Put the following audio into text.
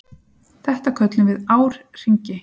Þetta köllum við árhringi.